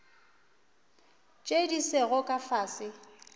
tše di sego ka fase